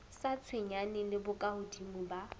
sa tshwenyaneng le bokahodimo ba